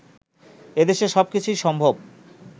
এদেশে সবকিছুই সম্ভব